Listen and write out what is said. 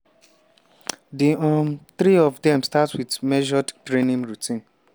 di um three of dem start wit measured training routine.